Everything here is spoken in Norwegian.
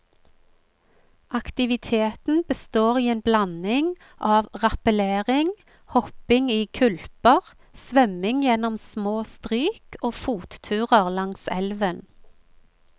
Aktiviteten består i en blanding av rappellering, hopping i kulper, svømming gjennom små stryk og fotturer langs elven.